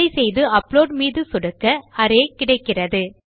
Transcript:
அதை செய்து அப்லோட் மீது சொடுக்க அரே கிடைக்கிறது